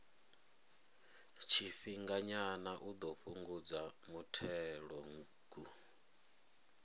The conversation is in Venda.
tshifhinganyana u ḓo fhungudza muthelogu